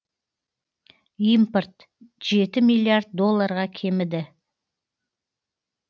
импорт жеті миллиард долларға кеміді